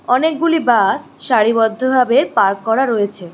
অনেকগুলি বাস সারিবদ্ধভাবে পার্ক করা রয়েছে।